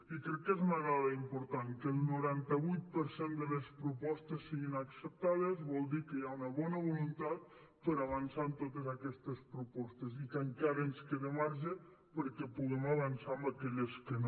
i crec que és una dada important que el noranta vuit per cent de les propostes siguin acceptades vol dir que hi ha una bona voluntat per avançar en totes aquestes propostes i que encara ens queda marge perquè puguem avançar en aquelles que no